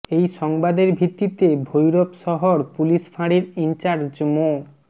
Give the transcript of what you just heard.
এই সংবাদের ভিত্তিতে ভৈরব শহর পুলিশ ফাঁড়ির ইনচার্জ মো